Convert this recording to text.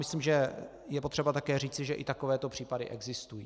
Myslím, že je potřeba také říci, že i takovéto případy existují.